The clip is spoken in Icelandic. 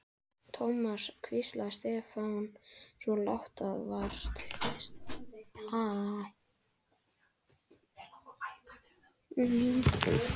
Thomas hvíslaði Stefán, svo lágt að vart heyrðist.